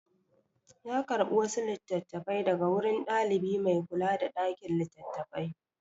Ya karɓi wasu littattafai daga wurin ɗalibi mai kula da ɗakin littattafai.